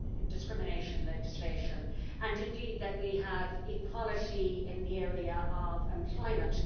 discrimination legislation, and indeed that we have equality in the area of employment.